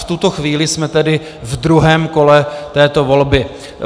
V tuto chvíli jsme tedy ve druhém kole této volby.